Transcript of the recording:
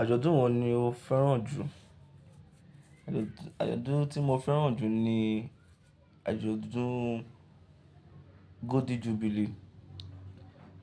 Àjọ̀dún wo ni o fẹ́ràn jù? Àjọ̀dún tí mo fẹ́ràn jù ni àjọ̀dún Golden Jubilee